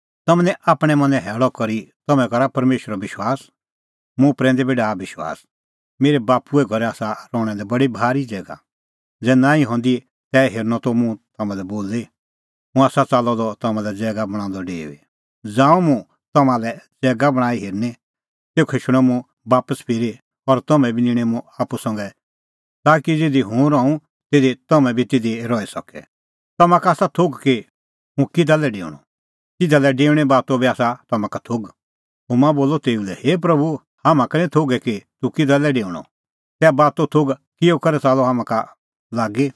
थोमा बोलअ तेऊ लै हे प्रभू हाम्हां का निं थोघै कि तूह किधा लै डेऊणअ तैहा बातो थोघ किहअ करै च़ाल्लअ हाम्हां का लागी